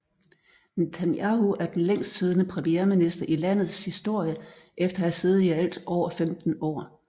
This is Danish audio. Netanyahu er den længst siddende premierminister i landets historie efter at have siddet i alt over 15 år